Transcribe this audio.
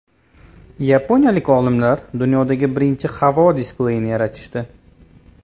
Yaponiyalik olimlar dunyoda birinchi havo displeyini yaratishdi.